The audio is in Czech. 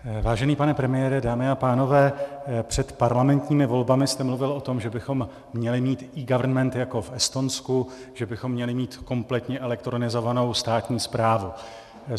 Vážený pane premiére, dámy a pánové, před parlamentními volbami jste mluvil o tom, že bychom měli mít eGovernment jako v Estonsku, že bychom měli mít kompletně elektronizovanou státní správu.